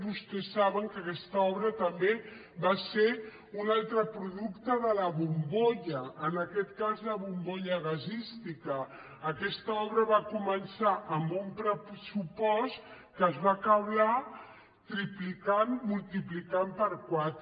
vostès saben que aquesta obra també va ser un altre producte de la bombolla en aquest cas la bombolla gasística aquesta obra va començar amb un pressupost que es va acabar triplicant multiplicant per quatre